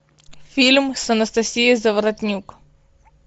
фильм с анастасией заворотнюк